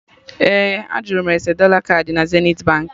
Ee, a jụrụ m ese dọla kaadị na Zenithi Baankị